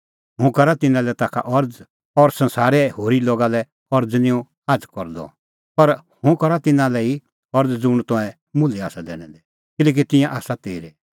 हुंह करा तिन्नां लै ताखा अरज़ और संसारे होरी लोगा लै अरज़ निं हुंह आझ़ करदअ पर हुंह करा तिन्नां लै ई अरज़ ज़ुंण तंऐं मुल्है आसा दैनै दै किल्हैकि तिंयां आसा तेरै